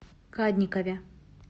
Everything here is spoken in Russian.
кадникове